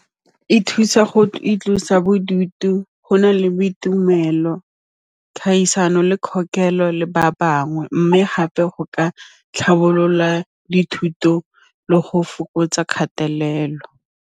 E thusa go itlosa bodutu go na le boitumelo, kgaisano le kgokelo le ba bangwe mme gape go ka tlhabolola dithuto le go fokotsa kgatelelo.